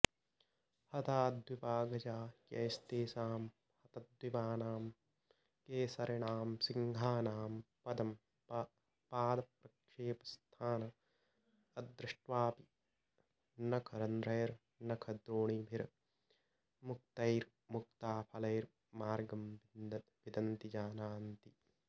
हता द्विपा गजा यैस्तेषां हतद्विपानां केसरिणां सिंहानां पदं पादप्रक्षेपस्थानमदृष्ट्वापि नखरन्ध्रैर्नखद्रोणिभिर्मुक्तैर्मुक्ताफलैर्मार्गं विदन्ति जानान्ति